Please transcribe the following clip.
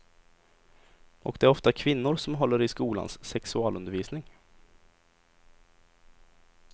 Och det är ofta kvinnor som håller i skolans sexualundervisning.